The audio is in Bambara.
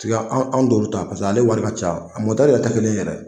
Tiga anw t'o ta paseke ale wari ka ca, a mɔtɛri tɛ kelen ye yɛrɛ!